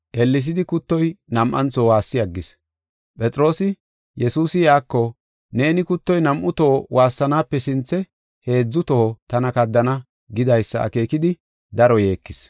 Ellesidi kuttoy nam7antho waassi aggis. Phexroosi, Yesuusi iyako, “Neeni kuttoy nam7u toho waassanaape sinthe heedzu toho tana kaddana” gidaysa akeekidi daro yeekis.